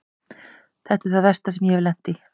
Þetta er það versta sem ég hef lent í.